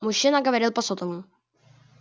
мужчина говорил по сотовому